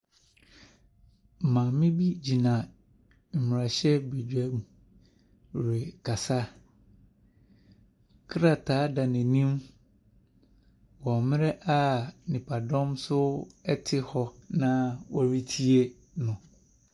Maame bi gyina mmarahyɛbedwam rekasa. Kraata da n'anim wɔ mmerɛ nnipadɔm nso te hɔ na wɔretie no.